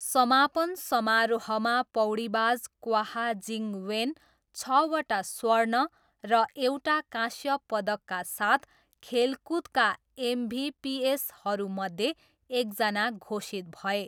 समापन समारोहमा पौडीबाज क्वाह जिङ वेन छवटा स्वर्ण र एउटा काँस्य पदकका साथ खेलकुदका एमभिपिएसहरूमध्ये एकजना घोषित भए।